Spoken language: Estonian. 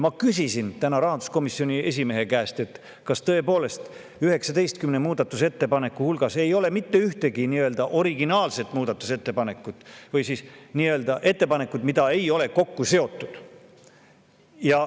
Ma küsisin täna rahanduskomisjoni esimehe käest, kas tõepoolest 19 muudatusettepaneku hulgas ei ole mitte ühtegi originaalset ettepanekut, sellist, mida ei ole kokku seotud.